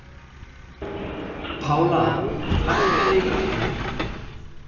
Pála, hækkaðu í græjunum.